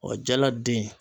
Ɔ jala den